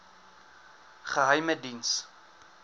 geheimediens